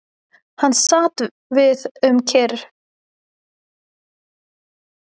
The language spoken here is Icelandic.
Hann sat því um kyrrt nokkra hríð og hugsaði sitt ráð.